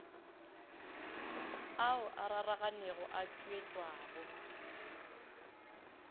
ao a raranego a tpwetpwago